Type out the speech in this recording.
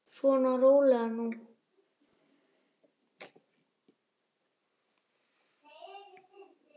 Svona, rólegur nú.